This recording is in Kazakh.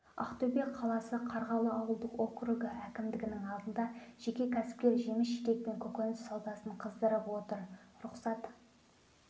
ақтөбе қаласы қарғалы ауылдық округі әкімдігінің алдында жеке кәсіпкер жеміс-жидек пен көкөніс саудасын қыздырып отыр рұқсат